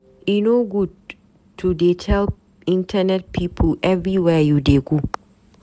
E no good to dey tell internet pipu everywhere you dey go.